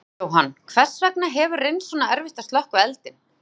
Jóhann, hvers vegna hefur reynst svona erfitt að slökkva eldinn?